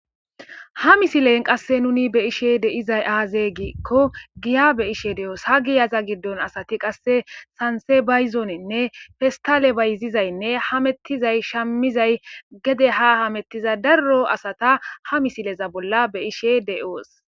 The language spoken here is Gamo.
ha misilen qasse nuni be ishe deizay aazeegiikko giya be ishe de7oos ha giyaza giddon asati qasse sanse bayzoonenne festale bayzizaynne hamettizay shammizay gede ha hamettiza darro asata ha misileza bolla be ishe de7oos